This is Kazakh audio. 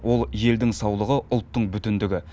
ол елдің саулығы ұлттың бүтіндігі